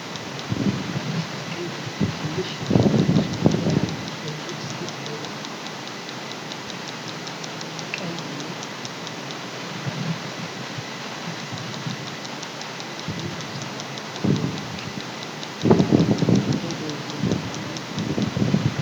ከበስተቀኝ በኩል፣ ትንሽ የቪዲዮ መስኮት ላይ አንዲት ሴት ዜና ስትዘግብ ትታያለች። ከስር ቀይ እና ሰማያዊ የመረጃ ሰሌዳ ላይ "አልጀዚራ" የሚል ጽሑፍ ተጽፏል። ይህ የህክምና ጉዳይ በዜና ጣቢያው ምን ተደረገ?